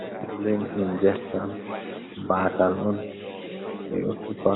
Insulin injection, baatal on ɓe ɗo tufa,